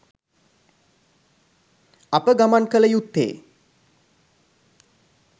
අප ගමන් කළ යුත්තේ